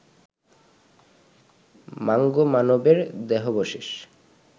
mango মানবের দেহাবশেষ